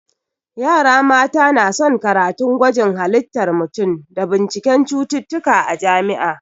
Yara mata na son karatun gwajin halittar mutum da binciken cututtuka a jami'a